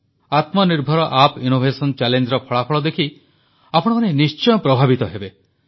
ଆତ୍ମନିର୍ଭର app innovation ଚ୍ୟାଲେଞ୍ଜର ଫଳାଫଳ ଦେଖି ଆପଣମାନେ ନିଶ୍ଚୟ ପ୍ରଭାବିତ ହେବେ